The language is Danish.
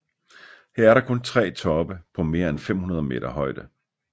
Her er der kun tre toppe på mere end 500 m højde